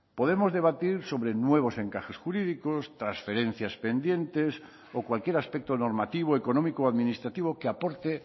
podemos debatir sobre nuevos encajes jurídicos transferencias pendientes o cualquier aspecto normativo económico o administrativo que aporte